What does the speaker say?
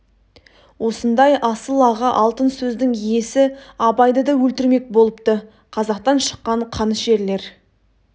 осындай асыл аға алтын сөздің иесі абайды да өлтірмек болыпты қазақтан шыққан қанішерлер